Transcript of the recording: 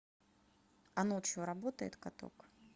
а ночью работает каток